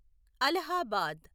Allahabad